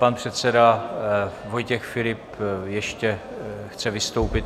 Pan předseda Vojtěch Filip ještě chce vystoupit.